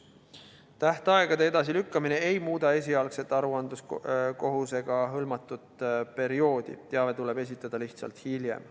Tähtaegade edasilükkamine ei muuda esialgse aruandekohustusega hõlmatud perioodi, teave tuleb esitada lihtsalt hiljem.